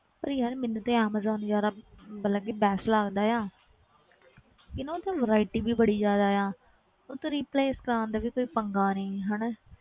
ਪਰ ਯਾਰ ਮੈਨੂੰ ਤੇ ਐਮਾਜੋਨ ਜ਼ਿਆਦਾ ਮਤਲਬ ਕਿ best ਲੱਗਦਾ ਆ ਕਿ ਨਾ ਉਹ ਤੇ variety ਵੀ ਬੜੀ ਜ਼ਿਆਦਾ ਆ ਉੱਤੋਂ replace ਕਰਵਾਉਣ ਦਾ ਵੀ ਕੋਈ ਪੰਗਾ ਨੀ ਹਨਾ